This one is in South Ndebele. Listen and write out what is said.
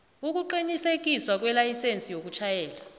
ukuqinisekiswa kwelayisense yokutjhayela